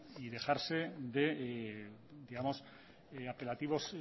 y dejarse de digamos apelativos